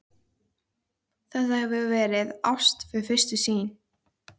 Þetta hefur verið ást við fyrstu sýn.